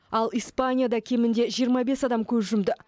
ал испанияда кемінде жиырма бес адам көз жұмды